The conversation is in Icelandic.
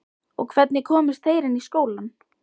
Og hvernig komust þeir inn í skólann?